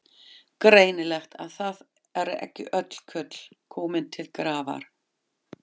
Greinilegt að það eru ekki öll kurl komin til grafar!